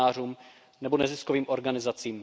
novinářům nebo neziskovým organizacím.